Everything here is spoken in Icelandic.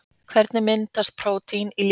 hvernig myndast prótín í líkamanum